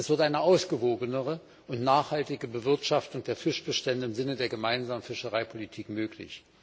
Es wird eine ausgewogenere und nachhaltige Bewirtschaftung der Fischbestände im Sinne der gemeinsamen Fischereipolitik möglich.